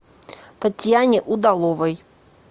татьяне удаловой